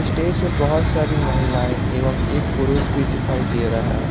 Stage पे बहुत सारी महिलाएं एवं एक पुरुष भी दिखाई दे रहा है।